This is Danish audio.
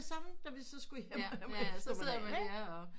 Samme da vi så skulle hjem af om eftermiddagen ikke